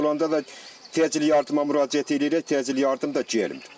Xəstəmiz olanda da təcil yardıma müraciət eləyirik, təcil yardım da gəlmir.